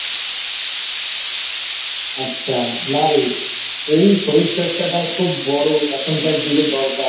আচ্ছা নারে এই শরীর চর্চাটা খুব বড় এখনকার যুগে দরকার